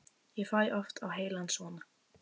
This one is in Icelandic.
Ég fæ oft á heilann svona.